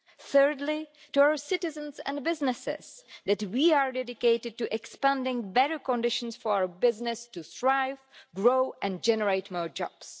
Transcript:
Thirdly, to our citizens and businesses, that we are dedicated to expanding better conditions for business to thrive, grow and generate more jobs.